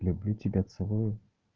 люблю тебя целую